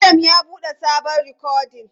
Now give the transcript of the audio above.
Adam ya bude sabon rikodin.